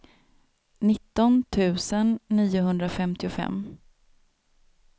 nitton tusen niohundrafemtiofem